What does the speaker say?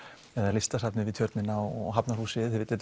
listasafnið við Tjörnina og Hafnarhúsið þetta